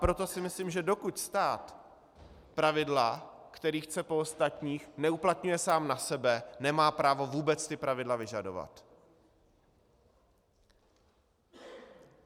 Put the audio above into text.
Proto si myslím, že dokud stát pravidla, která chce po ostatních, neuplatňuje sám na sebe, nemá právo vůbec ta pravidla vyžadovat.